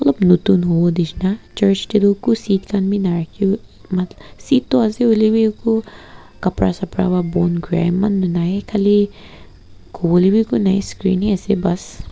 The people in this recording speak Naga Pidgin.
notun hovo neshina church dae tuh eku seats khan bhi narakhiv matl seat tuh ase holebhi eku kapra sapra pra bon kurey eman tuh nai khali kovolevi eku nai screen hi ase bas.